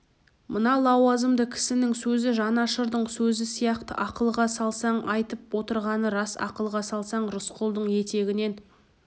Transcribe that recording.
мына лауазымды кісінің сөзі жанашырдың сөзі сияқты ақылға салсаң айтып отырғаны рас ақылға салсаң рысқұлдың етегінен